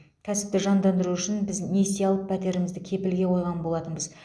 кәсіпті жандандыру үшін біз несие алып пәтерімізді кепілге қойған болатынбыз